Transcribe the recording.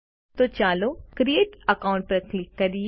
તો ચાલો create account પર ક્લિક કરીએ